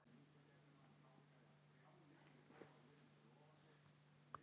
Blikum var spáð fimmta sæti en lauk keppni í áttunda sæti.